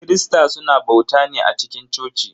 Kirista suna bauta ne a cikin coci.